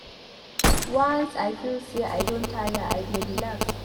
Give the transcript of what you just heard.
Once I feel sey I don tire I dey relax